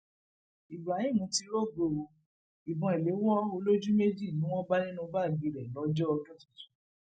ibrahim ti rògó o ìbọn ìléwó olójúméjì ni wọn bá nínú báàgì rẹ lọjọ ọdún tuntun